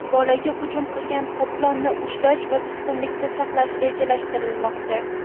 Bolaga hujum qilgan qoplonni ushlash va tutqunlikda saqlash rejalashtirilmoqda.